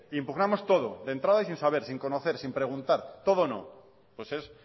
impugnamos todo de entrada y sin saber sin conocer sin preguntar todo no pues es